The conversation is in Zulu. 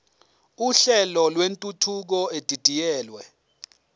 uhlelo lwentuthuko edidiyelwe